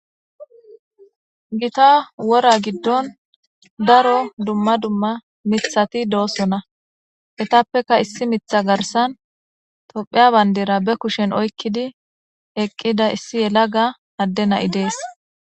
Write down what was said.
Gita wora gidon daro dumma dumma mithati doosona etappeka issi miththa garsen tophiya bandira be kushen oykidi eqqida issi yalaga adde na'i dees.